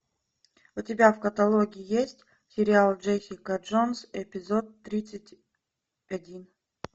у тебя в каталоге есть сериал джессика джонс эпизод тридцать один